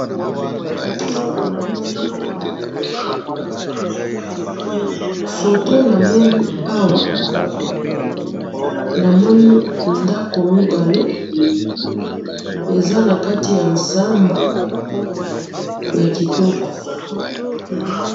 photo namoni awa namoni ndako mibali eza nakati ya nzamba ya kitoko